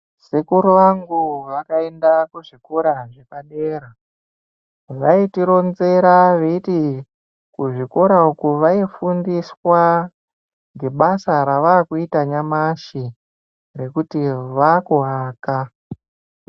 Sekuru vangu vakaenda kuzvikora zvepadera vaiti ronzera veiti kuzvikora uku vaifundiswa ngebasa ravakuita nyamashi rekuti vaku aka.